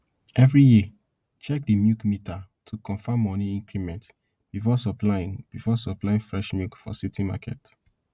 every year check di milk meter to confirm money increment before supplying before supplying fresh milk for city market